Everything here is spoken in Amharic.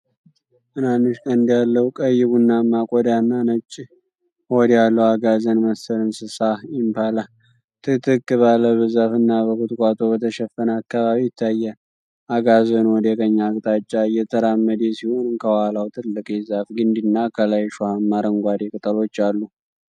ትናንሽ ቀንድ ያለው፣ ቀይ ቡናማ ቆዳና ነጭ ሆድ ያለው አጋዘን መሰል እንስሳ (ኢምፓላ) ጥቅጥቅ ባለ በዛፍና በቁጥቋጦ በተሸፈነ አካባቢ ይታያል። አጋዘኑ ወደ ቀኝ አቅጣጫ እየተራመደ ሲሆን፣ ከኋላው ትልቅ የዛፍ ግንድና ከላይ እሾሃማ አረንጓዴ ቅጠሎች አሉ።